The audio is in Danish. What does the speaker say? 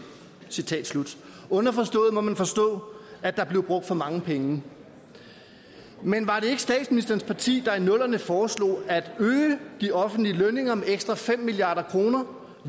underforstået må man forstå at der blev brugt for mange penge men var det ikke statsministerens parti der i nullerne foreslog at øge de offentlige lønninger med ekstra fem milliard kr